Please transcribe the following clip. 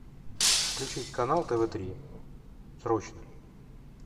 включить канал тв три срочно